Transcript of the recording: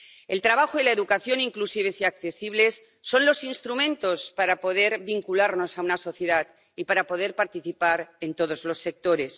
El trabajo y la educación inclusivas y accesibles son los instrumentos para poder vincularnos a una sociedad y para poder participar en todos los sectores